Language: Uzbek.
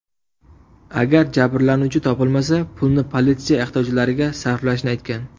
Agar jabrlanuvchi topilmasa, pulni politsiya ehtiyojlariga sarflashni aytgan.